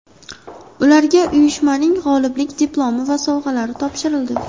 Ularga uyushmaning g‘oliblik diplomi va sovg‘alari topshirildi.